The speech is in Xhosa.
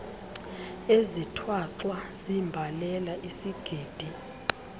ezithwaxwa ziimbalela isigidi